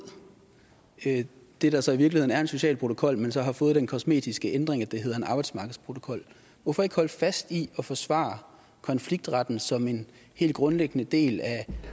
det der så i virkeligheden er en social protokol men som har fået den kosmetiske ændring at det hedder en arbejdsmarkedsprotokol hvorfor ikke holde fast i at forsvare konfliktretten som en helt grundlæggende del